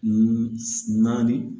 Naani